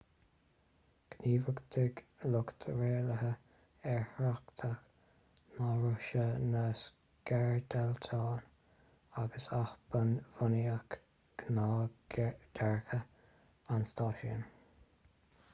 ghníomhachtaigh lucht rialaithe aerthráchta na rúise na scairdeitleáin agus athbhunaíodh gnáthdhearcadh an stáisiúin